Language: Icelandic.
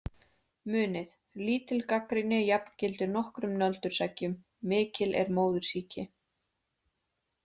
Munið: Lítil gagnrýni jafngildir nokkrum nöldurseggjum, mikil er móðursýki.